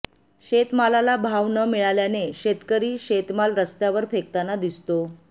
शेतमालाला भाव न मिळाल्याने शेतकरी शेतमाल रस्तावर फेकताना दिसतो